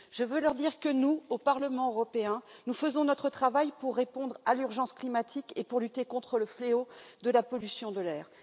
Je veux leur dire que nous, au Parlement européen, nous faisons notre travail pour répondre à l'urgence climatique et pour lutter contre le fléau de la pollution de l'air.